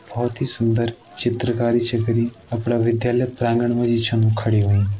बहुत ही सुंदर चित्रकारी छ करीं अपना विद्यालय प्रांगण मा इ छन खड़ी हुईं।